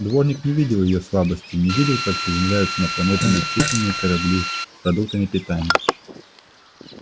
дворник не видел её слабостей не видел как приземляются на планету бесчисленные корабли с продуктами питания